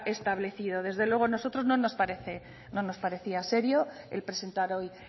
establecido desde luego a nosotros no nos parecía serio el presentar hoy